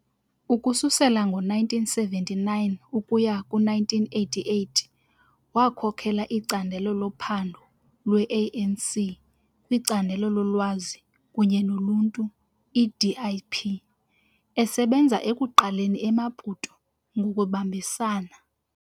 Ukususela ngo-1979 ukuya ku-1988 wakhokela icandelo lophando lwe-ANC kwiCandelo loLwazi kunye noluntu i-DIP, esebenza ekuqaleni eMaputo ngokubambisana.